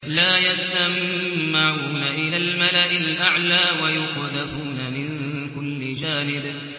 لَّا يَسَّمَّعُونَ إِلَى الْمَلَإِ الْأَعْلَىٰ وَيُقْذَفُونَ مِن كُلِّ جَانِبٍ